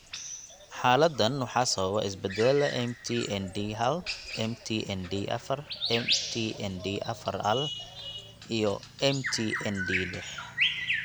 Xaaladdan waxaa sababa isbeddellada MT ND hal, MT ND afar, MT ND afar L, iyo MT ND lix.